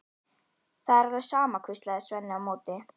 Það er alveg sama, maður, hvíslaði Svenni á móti.